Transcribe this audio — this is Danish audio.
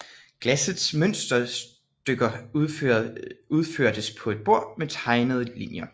Glassets mønsterstykker udførtes på et bord med tegnede linjer